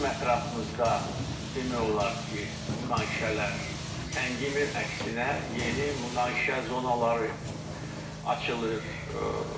Bizim ətrafımızda demək olar ki, münaqişələr səngimir, əksinə yeni münaqişə zonaları açılır.